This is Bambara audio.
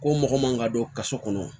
Ko mɔgɔ man ka don kaso kɔnɔ